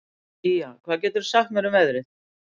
Ýja, hvað geturðu sagt mér um veðrið?